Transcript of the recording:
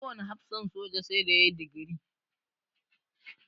Kowane hafsan soja sai da ya yi digiri.